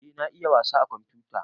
Eh na iya wasa a komfuta